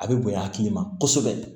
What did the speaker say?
A bɛ bonya a hakili ma kosɛbɛ